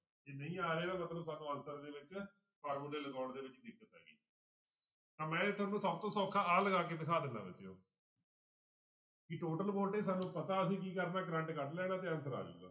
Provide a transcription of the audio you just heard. ਜੇ ਨਹੀਂ ਆ ਰਿਹਾ ਇਹਦਾ ਮਤਲਬ ਸਾਨੂੰ answer ਦੇ ਵਿੱਚ ਫਾਰਮੁਲੇ ਲਗਾਉਣ ਦੇ ਵਿੱਚ ਦਿੱਕਤ ਆ ਗਈ ਤਾਂ ਮੈਂ ਤੁਹਾਨੂੰ ਸਭ ਤੋਂ ਸੌਖਾ ਆਹ ਲਗਾ ਕੇ ਦਿਖਾ ਦਿਨਾ ਬੱਚਿਓ ਕਿ total voltage ਸਾਨੂੰ ਪਤਾ ਅਸੀਂ ਕੀ ਕਰਨਾ ਕਰੰਟ ਕੱਢ ਲੈਣਾ ਤੇ answer ਆ ਜਾਊਗਾ।